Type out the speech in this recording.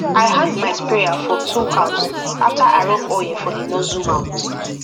i hang my sprayer for tool house after i rub oil for the nozzle mouth